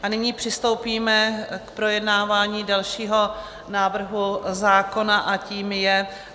A nyní přistoupíme k projednávání dalšího návrhu zákona, a tím je